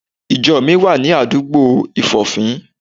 Ìjo mi wà ní àdúgbà Ìfòfín